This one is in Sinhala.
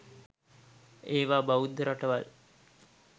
ඒව බෞද්ධ රටවල්.